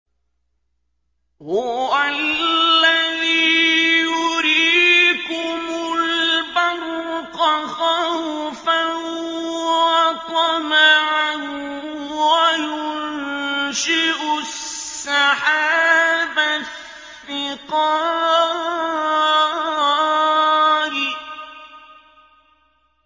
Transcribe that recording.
هُوَ الَّذِي يُرِيكُمُ الْبَرْقَ خَوْفًا وَطَمَعًا وَيُنشِئُ السَّحَابَ الثِّقَالَ